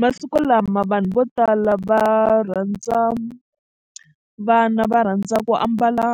Masikulama vanhu vo tala va rhandza vana va rhandza ku ambala